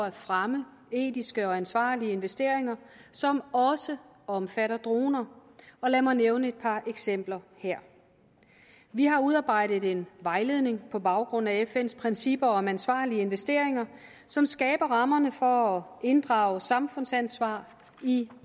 at fremme etiske og ansvarlige investeringer som også omfatter droner lad mig nævne et par eksempler her vi har udarbejdet en vejledning på baggrund af fns principper om ansvarlige investeringer som skaber rammerne for at inddrage samfundsansvar i